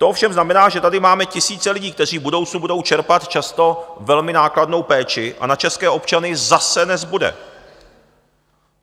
To ovšem znamená, že tady máme tisíce lidí, kteří v budoucnu budou čerpat často velmi nákladnou péči, a na české občany zase nezbude.